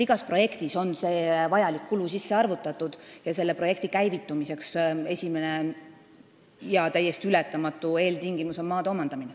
Igasse projekti on see vajalik kulu sisse arvutatud ning projekti käivitumise esimene ja täiesti ületamatu eeltingimus on maa omandamine.